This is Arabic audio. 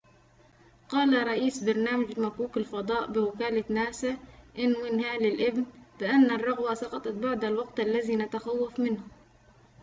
قال رئيس برنامج مكوك الفضاء بوكالة ناسا ن وين هالي الابن بأن الرغوة سقطت بعد الوقت الذي نتخوّف منه